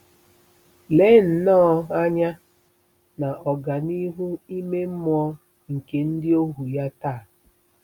Lee nnọọ anya na ọganihu ime mmụọ nke ndị ohu ya taa!